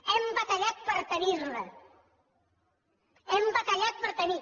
hem batallat per tenir la hem batallat per tenir